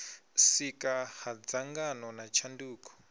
sika ha dzangano na tshanduko